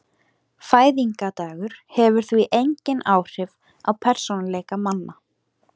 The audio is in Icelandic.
Fæðingardagur hefur því engin áhrif á persónuleika manna.